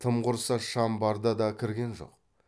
тым құрса шам барда да кірген жоқ